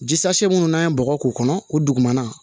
Jise minnu n'an ye bɔgɔ k'o kɔnɔ o dugumana